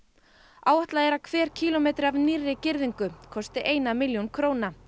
áætlað er að hver kílómetri af nýrri girðingu kosti eina milljón króna